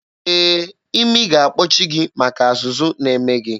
Ee, imi ga-akpọchi gị maka azụzụ na-eme gị.